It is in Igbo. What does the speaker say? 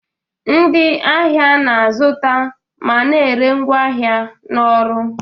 Ndị ahịa na-azụta ma na-ere ngwaahịa na ọrụ.